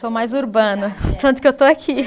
Sou mais urbana, tanto que eu estou aqui.